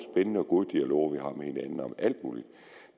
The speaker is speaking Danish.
gode dialoger vi har med hinanden om alt muligt